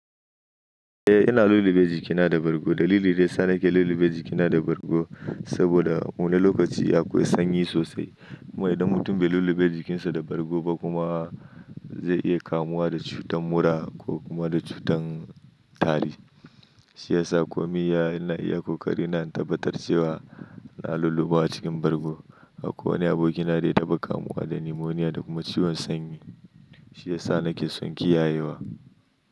Eh, ina lullube jikina da bargo. Dalili daya sa nake lullube jikina da bargo saboda wani lokaci aƙwai sanyi sosai. Kuma idan mutum bai lullube jikinsa da bargo ba kuma zai iya kamuwa da cutar mura ko kuma da cutar tari. Shi yasa ko miya ina iya ƙo ƙari ina tabbatar cewa ina lullubawa cikin bargo. Akwai wani abokina dai taɓa kamuwa da nimoniya da kuma ciwon sanyi. Shi yasa nake son kiyayewa.